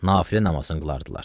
Nafilə namazını qılardılar.